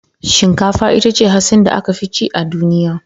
Shinkafa ita ce hatsi da aka fi cin a duniya